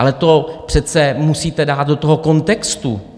Ale to přece musíte dát do toho kontextu.